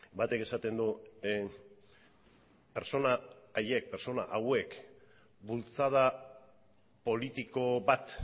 batek esaten du pertsona haiek pertsona hauek bultzada politiko bat